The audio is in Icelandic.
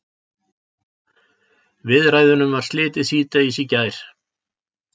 Viðræðunum var slitið síðdegis í gær